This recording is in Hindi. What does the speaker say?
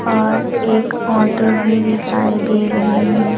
और एक ऑटो भी दिखाई दे रहे हैं।